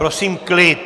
Prosím klid!